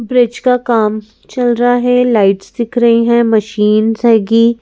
Bridge का काम चल रहा है लाइट्स दिख रही हैं मशीनस हैगी ।